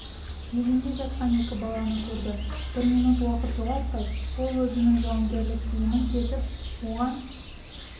еденде жатқан екі баланы көрді бір минут уақытын жоғалтпай ол өзінің жауынгерлік киімін шешіп оған